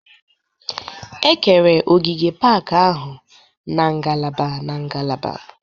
E kere ogige pak ahụ n'ngalaba n'ngalaba